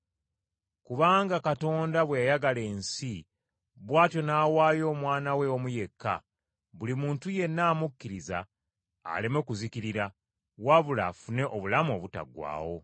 “Kubanga Katonda bwe yayagala ensi, bw’atyo n’awaayo Omwana we omu yekka, buli muntu yenna amukkiriza aleme kuzikirira, wabula afune obulamu obutaggwaawo.